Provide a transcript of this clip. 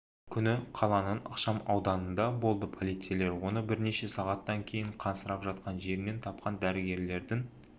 күні қаланың ықшам ауданында болды полицейлер оны бірнеше сағаттан кейін қансырап жатқан жерінен тапқан дәрігерлердің